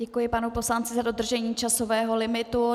Děkuji panu poslanci za dodržení časového limitu.